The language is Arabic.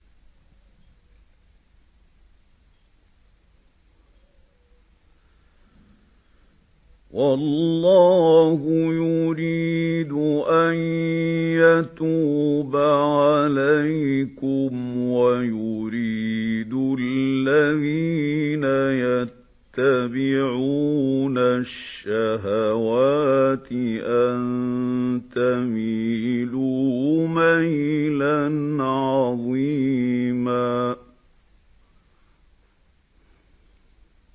وَاللَّهُ يُرِيدُ أَن يَتُوبَ عَلَيْكُمْ وَيُرِيدُ الَّذِينَ يَتَّبِعُونَ الشَّهَوَاتِ أَن تَمِيلُوا مَيْلًا عَظِيمًا